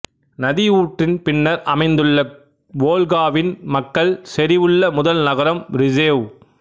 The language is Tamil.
நதி ஊற்றின் பின்னர் அமைந்துள்ள வோல்காவின் மக்கள் செறிவுள்ள முதல் நகரம் ரிசேவ்